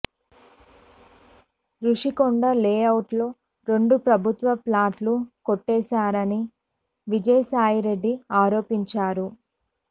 రుషికొండ లే అవుట్లో రెండు ప్రభుత్వ ప్లాట్లు కొట్టేశాడని విజయసాయిరెడ్డి ఆరోపించారు